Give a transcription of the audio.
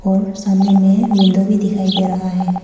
सामने में विंडो भी दिखाई दे रहा है।